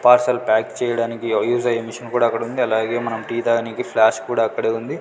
Parcel pack చెయ్యడానికి use అయ్యే machine కూడ అక్కడ ఉంది అలాగే మనం టీ తాగనీకి ఫ్లాస్క్ కూడా అక్కడే ఉంది.